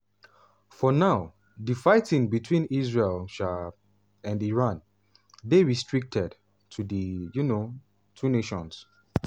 for now difighting between israel um and irandey restricted to di um two nations.